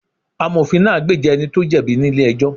Amofin náà gbèjà ẹni tó jẹ̀bi ní ilé ẹjọ́